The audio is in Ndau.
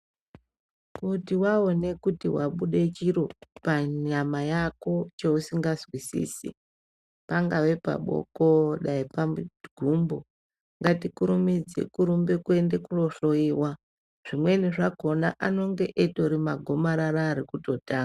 Kuti waone kuti wabude chiro panyama yako cheusinganzwisisi pangave paboko kana pagumbo ngatikurumidze kurumbe kuende kunohloyiwa zvimweni zvakhona anonge itori magomarara arikutotanga.